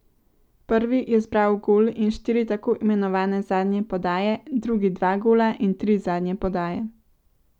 Prvi je zbral gol in štiri tako imenovane zadnje podaje, drugi dva gola in tri zadnje podaje.